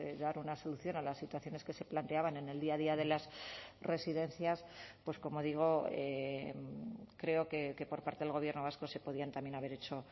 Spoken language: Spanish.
dar una solución a las situaciones que se planteaban en el día a día de las residencias pues como digo creo que por parte del gobierno vasco se podían también haber hecho